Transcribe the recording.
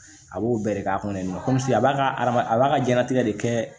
A b'o bɛɛ de k'a kɔnɔ a b'a ka adama a b'a ka diɲɛnatigɛ de kɛ